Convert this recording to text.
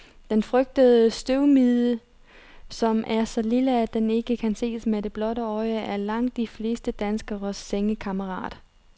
Den frygtede husstøvmide, som er så lille, at den ikke kan ses med det blotte øje, er langt de fleste danskeres sengekammerat.